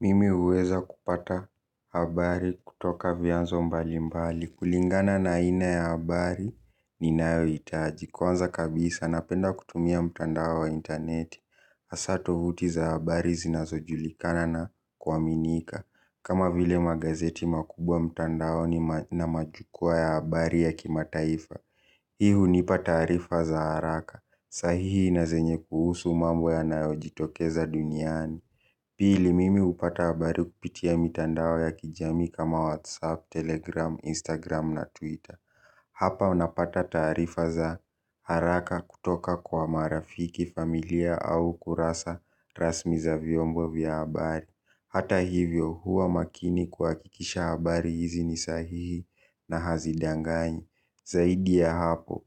Mimi uweza kupata habari kutoka vianzo mbalimbali. Kulingana na aina ya habari ni nayo itaji. Kuanza kabisa napenda kutumia mtandao wa interneti. Asa tovuti za habari zinazo julikana na kuwaminika. Kama vile magazeti makubwa mtandaoni na majukua ya habari ya kimataifa. Hii unipa tarifa za haraka. Sahihi na zenye kuhusu mambo ya nayo jitokeza duniani. Pili mimi upata abari kupitia mitandao ya kijami kama WhatsApp, Telegram, Instagram na Twitter. Hapa unapata tarifa za haraka kutoka kwa marafiki familia au kurasa rasmi za viombo vya abari. Hata hivyo huwa makini kwakikisha abari hizi ni sahihi na hazidanganyi. Zaidi ya hapo,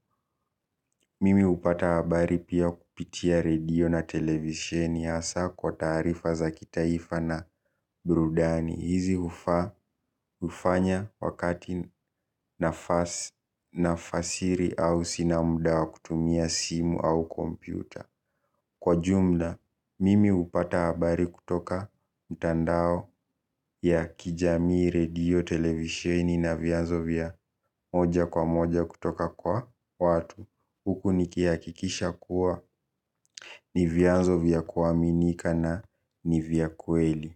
mimi upata abari pia kupitia radio na televisheni asa kwa tarifa za kitaifa na burudani. Hizi ufanya wakati nafasiri au sina muda kutumia simu au kompyuta. Kwa jumla, mimi upata habari kutoka mtandao ya kijamii radio televisheni na viazo vya moja kwa moja kutoka kwa watu huku nikiakikisha kuwa ni vyanzo vyakuwa minika na ni vyakuweli.